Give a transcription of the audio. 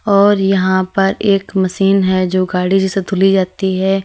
और यहां पर एक मशीन है जो गाड़ी जैसे धुली जाती है।